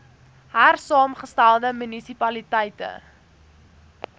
hersaamge stelde munisipaliteite